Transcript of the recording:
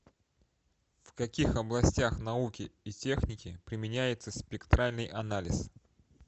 в каких областях науки и техники применяется спектральный анализ